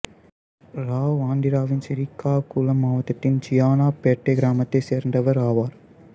இராவ் ஆந்திராவின் சிறீகாகுளம் மாவட்டத்தின் ஜியானாபேட்டை கிராமத்தைச் சேர்ந்தவர் ஆவார்